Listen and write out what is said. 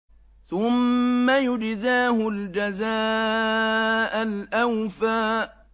ثُمَّ يُجْزَاهُ الْجَزَاءَ الْأَوْفَىٰ